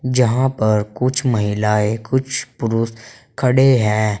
यहां पर कुछ महिलाएं कुछ पुरुष खड़े हैं।